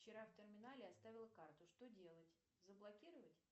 вчера в терминале оставила карту что делать заблокировать